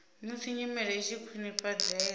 musi nyimele i tshi khwinifhadzea